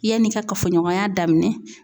Yann'i ka kafoɲɔgɔnya daminɛ